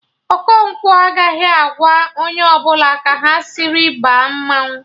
Okonkwo agaghị agwa onye ọbụla ka ha sịrị baa mmanwụ